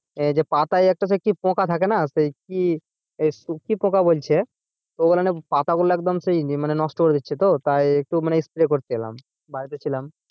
এই পাতায় যে কি একটা পোকা থাকে না কি সেই কি পোকা বলছে ওগুলো পাতাগুলা একদম মানে নষ্ট করে দিচ্ছে তো একটু spray করতে এলাম বাড়িতে ছিলাম,